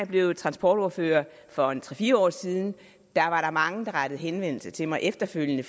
blev transportordfører for tre fire år siden og der var der mange der forsigtigt rettede henvendelse til mig efterfølgende